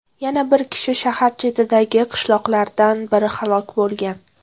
Yana bir kishi shahar chetidagi qishloqlardan birida halok bo‘lgan.